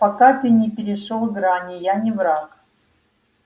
пока ты не перешёл грани я не враг